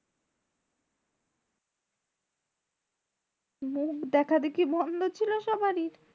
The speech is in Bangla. মুখ দেখা দেখি বন্ধ ছিল সবারই।